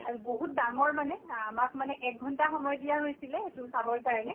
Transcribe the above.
আৰু বহুত ডাঙৰ মানে আমাক মানে এক ঘন্টা সময় দিয়া হৈছিলে এইট চাবৰ কাৰণে